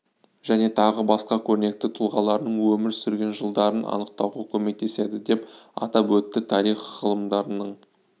және тағы басқа көрнекті тұлғаларының өмір сүрген жылдарын анықтауға көмектеседі деп атап өтті тарих ғылымдарының